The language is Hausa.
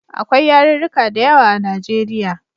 Akwai yarurruka da yawa a Najeriya.